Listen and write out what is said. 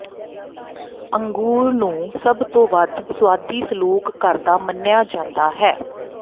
ਅੰਗੂਰ ਨੂੰ ਸਭ ਤੋਂ ਵੱਧ ਸੁਆਦੀ ਸਲੂਕ ਕਰਦਾ ਮੰਨਿਆ ਜਾਂਦਾ ਹੈ